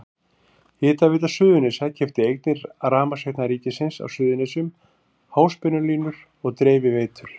Hitaveita Suðurnesja keypti eignir Rafmagnsveitna ríkisins á Suðurnesjum, háspennulínur og dreifiveitur.